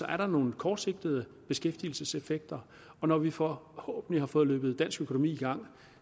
er der nogle kortsigtede beskæftigelseseffekter og når vi forhåbentlig har fået løbet dansk økonomi i gang